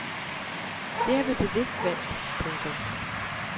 Det har vi bevidst valgt. punktum